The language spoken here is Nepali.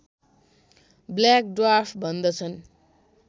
ब्ल्याक ड्वार्फ भन्दछन्